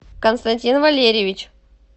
константин валерьевич